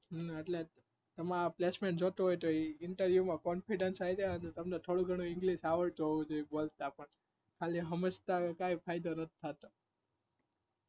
હમ્મ એટલે એમાં placement જોઈતું હોય તો એ interview માં confidence આવી જાય, અને તમને થોડું ઘણું english આવડતું હોવું જોઈએ. બોલતા પણ ખાલી સમજતા કાઈ ફાયદો નથી થાતો